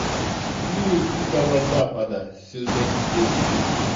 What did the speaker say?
мир дикого запада сезон девять